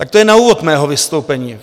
Tak to je na úvod mého vystoupení.